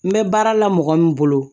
N bɛ baara la mɔgɔ min bolo